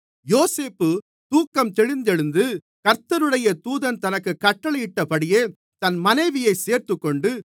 யோசேப்பு தூக்கம் தெளிந்து எழுந்து கர்த்தருடைய தூதன் தனக்குக் கட்டளையிட்டபடியே தன் மனைவியைச் சேர்த்துக்கொண்டு